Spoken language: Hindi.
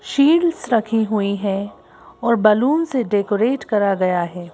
शील्ड्स रखी हुईं हैं और बलून से डेकोरेट करा गया है।